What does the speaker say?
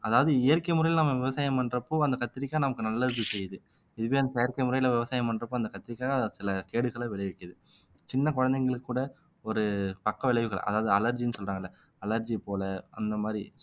அதாவது இயற்கை முறையில நம்ம விவசாயம் பண்றப்போ அந்த கத்திரிக்காய் நமக்கு நல்லது செய்யுது இதுவே அந்த செயற்கை முறையில விவசாயம் பண்றப்ப அந்த கத்திரிக்காய் சில கேடுகளை விளைவிக்குது சின்ன குழந்தைகளுக்கு கூட ஒரு பக்கவிளைவுகள் அதாவது அலர்ஜின்னு சொல்றாங்கல்ல அலர்ஜி போல அந்த மாதிரி